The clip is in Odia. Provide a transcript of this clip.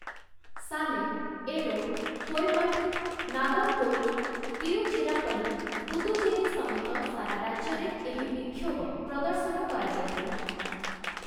ସାଲେମ, ଏରୋଡ଼, କୋଏମ୍ବାଟୁର, ନାଗରକୋଇଲ, ତିରୁଚିରାପଲ୍ଲୀ, ପୁଦୁଚେରୀ ସମେତ ସାରା ରାଜ୍ୟରେ ଏହି ବିକ୍ଷୋଭ ପ୍ରଦର୍ଶନ କରାଯାଇଥିଲା ।